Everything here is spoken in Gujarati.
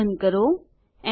કૌંસ બંધ કરો